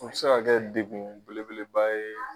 O bi se ka degun belebeleba ye.